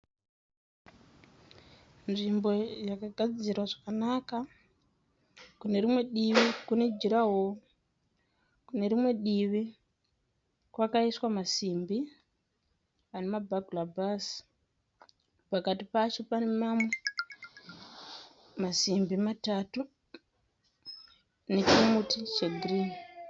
Nzvimbo yakagadzirwa zvakanaka. Kune rimwe divi kune jurahoro. Kune rimwe divi kwakaiswa masimbi anema bhagirabhaazi. Pakati pacho panemamwe masimbi matatu. Nechimuti chegirinhi.